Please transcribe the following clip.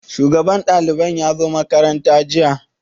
Shugaban ɗalibai ya zo makaranta jiya?